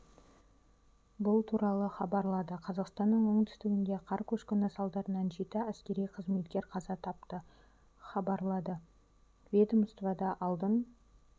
бұл туралы хабарлады қазақстанның оңтүстігінде қар көшкіні салдарынан жеті әскери қызметкер қаза тапты хабарлады ведомствода алдын